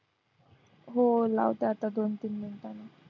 हो लावते आता दोन-तीन मिनिटांनी